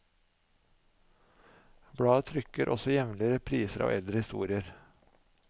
Bladet trykker også jevnlig repriser av eldre historier.